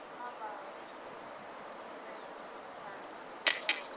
kha vha vhe na vhudifari